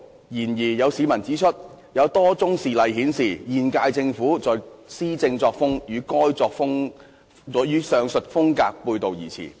然而，有市民指出，有多宗事例顯示現屆政府的施政作風與該風格背道而馳。